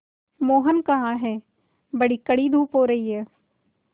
मोहन कहाँ हैं बड़ी कड़ी धूप हो रही है